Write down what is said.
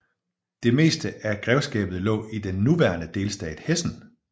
Det meste af grevskabet lå i den nuværende delstat Hessen